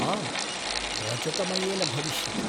आम्, रजतमयेन भविष्यति।